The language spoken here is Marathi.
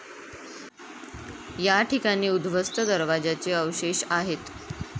याठिकाणी उध्वस्त दरवाजाचे अवशेष आहेत.